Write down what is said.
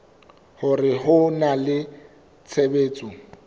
hore ho na le tshebetso